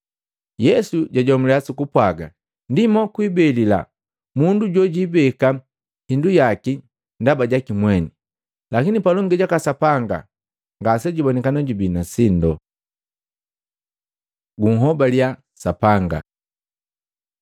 Yesu jajomuliya sukupwaga, “Ndi mokwibelila mundu jojijibeke hindu yaki ndaba jaki mweni, lakini palongi jaka Sapanga ngase jubonikana jubii na sindo.” Gunhobaliya Sapanga Matei 6:25-34